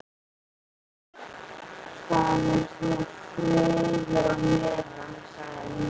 Það er þá friður á meðan, sagði hún.